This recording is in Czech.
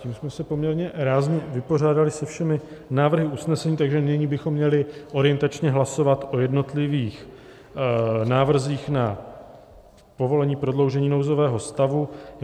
Tím jsme se poměrně rázně vypořádali se všemi návrhy usnesení, takže nyní bychom měli orientačně hlasovat o jednotlivých návrzích na povolení prodloužení nouzového stavu.